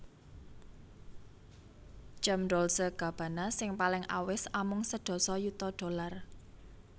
Jam Dolce Gabbana sing paling awis amung sedasa yuta dollar